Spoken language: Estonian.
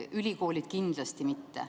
Ülikoolid kindlasti mitte.